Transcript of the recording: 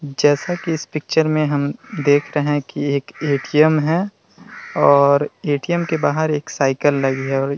जैसा कि इस पिक्चर में हम देख रहे है कि एक ए.टी.एम. है और ए.टी.एम. के बाहर एक साइकिल लगी है और --